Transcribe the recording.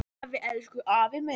Afi, elsku afi minn.